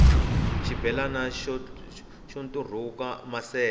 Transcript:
xibelani xo nturhuka maseve